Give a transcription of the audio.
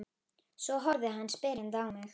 Svo horfði hann spyrjandi á mig.